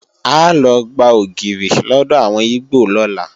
A lọ gba ògìrì lọ́dọ̀ àwọn ígbò lọ́la